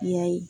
Ya ye